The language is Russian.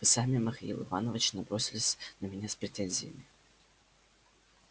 вы сами михаил иванович набросились на меня с претензиями